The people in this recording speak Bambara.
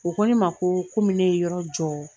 O kɔ ne ma koo komi ne ye yɔrɔ jɔ